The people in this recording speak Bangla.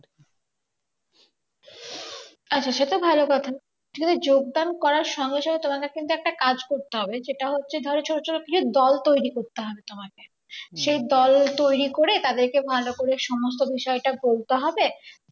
আচ্ছা সেটা ভালো কথা মানে যোগদান করার সঙ্গে সঙ্গে তোমাকে কিন্তু একটা কাজ করতে হবে যেটা হচ্ছে যে ধর ছোট ছোট কিছু দল তৈরি করতে হবে তোমাকে সেই দল তৈরি করে তাদেরকে ভালো করে সমস্ত বিষয়টা বলতে হবে।